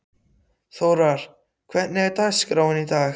Þórar, hvernig er dagskráin í dag?